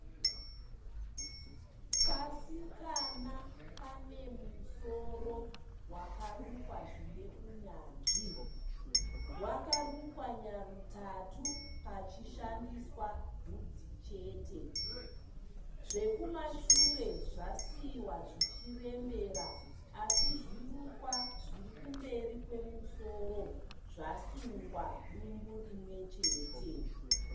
Kasikana kanemusoro wakarukwa zvineunyanzvi. Wakarukwa nyarutatu pachishandiswa bvudzi chete. Zvekumashure zvasiiwa zvichirembera asi zvirukwa zvirikumberi kwemusoro zvasungwa dumbu rimwechete.